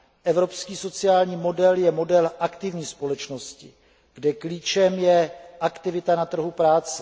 Evropský sociální model je model aktivní společnosti, kde klíčem je aktivita na trhu práce.